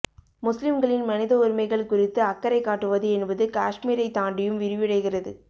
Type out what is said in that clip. முஸ்லிம்களின் மனித உரிமைகள் குறித்து அக்கறை காட்டுவது என்பது காஷ்மீரை தாண்டியும் விரிவடைகிறது